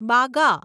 બાગા